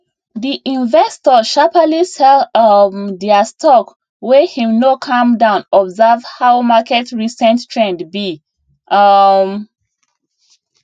the investor sharperly sell um their stock wey him no calm down observe how market recent trend be um